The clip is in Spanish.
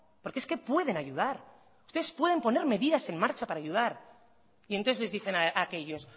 porque es que pueden ayudar ustedes pueden poner medidas en marcha para ayudar y entonces les dicen a aquellos